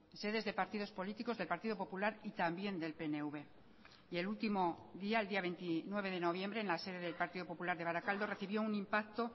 sedes de partidos políticos del partido popular y también del pnv y el último día el día veintinueve de noviembre en la sede del partido popular de barakaldo recibió un impacto